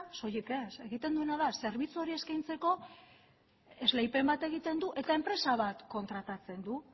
soilik ez egiten duena da zerbitzu hori eskaintzeko esleipen bat egiten du eta enpresa bat kontratatzen du